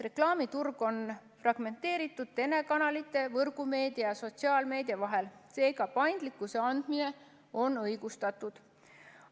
Reklaamiturg on fragmenteeritud telekanalite, võrgumeedia ja sotsiaalmeedia vahel, seega paindlikkuse andmine on õigustatud.